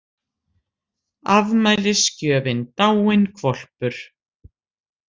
Afmælisgjöfin dáinn hvolpur